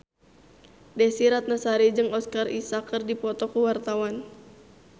Desy Ratnasari jeung Oscar Isaac keur dipoto ku wartawan